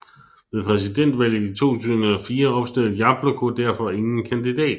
Ved presidentvalget i 2004 opstillede Jabloko derfor ingen kandidat